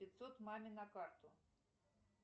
пятьсот маме на карту